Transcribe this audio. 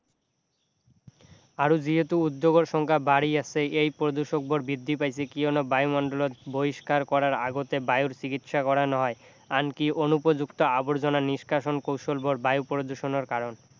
আৰু যিহেতু উদ্যোগৰ সংখ্যা বাঢ়ি আছে এই প্ৰদূষকবোৰ বৃদ্ধি পাইছে কিয়নো বায়ুমণ্ডলত বহিষ্কাৰ কৰাৰ আগতে বায়ুৰ চিকিৎসা কৰা নহয় আনকি অনুপযুক্ত আৱৰ্জনা নিষ্কাষণ কৌশলবোৰ বায়ু প্ৰদূষণৰ কাৰণ